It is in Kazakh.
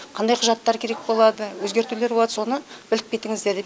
қандай құжаттар керек болады өзгертулер болады соны біліп кетіңіздер деді